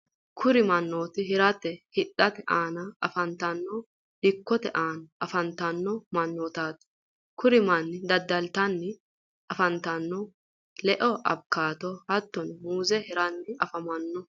kuri mannoti hiratenna hidhate aana afantanno dikkote aana afantanno mannaati. kuri manni daddalitanni afantannohuno le"a awukaado hattoni muuze hiranni afamanno.